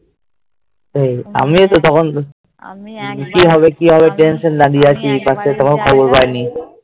সেই আমিও তো কি হবে কি হবে Tension নিয়ে দাঁড়িয়ে আছি আর কোনো খবর পাইনি